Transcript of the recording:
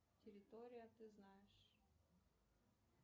территория ты знаешь